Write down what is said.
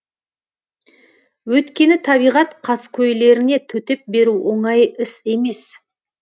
өйткені табиғат қаскөйлеріне төтеп беру оңай іс емес